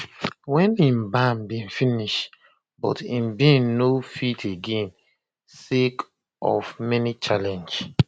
wen im ban bin finish but im bin no fit again sake of many challenges